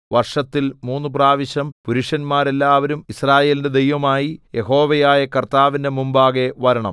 വർഷത്തിൽ മൂന്ന് പ്രാവശ്യം പുരുഷന്മാരെല്ലാവരും യിസ്രായേലിന്റെ ദൈവമായി യഹോവയായ കർത്താവിന്റെ മുമ്പാകെ വരണം